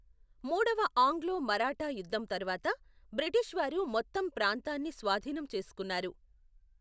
మూడవ ఆంగ్లో మరాఠా యుద్ధం తరువాత, బ్రిటిషు వారు మొత్తం ప్రాంతాన్ని స్వాధీనం చేసుకున్నారు.